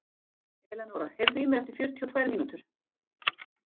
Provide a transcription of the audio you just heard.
Elenóra, heyrðu í mér eftir fjörutíu og tvær mínútur.